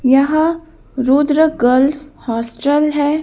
यह Rudra girls hostel है।